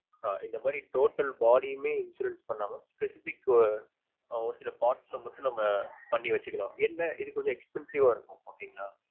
ஆஹ் இந்த மாதிரி Total body யுமே insurance பண்ணாலும் specific க்கு ஒருசில sparts ல மட்டும் நம்ம பண்ணி வச்சுக்கலாம் என்ன இது கொஞ்சம் expensive ஆ இருக்கும் ok ங்கலா